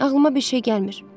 Ağlıma bir şey gəlmir.